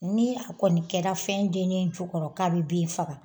Ni a kɔni kɛra fɛn dennen jukɔrɔ k'a bɛ bin faga